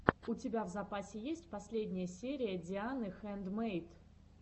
у тебя в запасе есть последняя серия дианы хэндмэйд